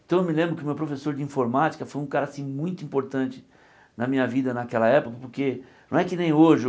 Então eu me lembro que o meu professor de informática foi um cara assim muito importante na minha vida naquela época, porque não é que nem hoje.